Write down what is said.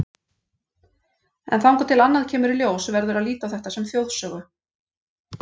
En þangað til annað kemur í ljós verður að líta á þetta sem þjóðsögu.